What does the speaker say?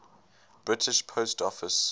british post office